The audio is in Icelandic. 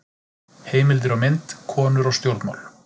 Heimildir og mynd: Konur og stjórnmál.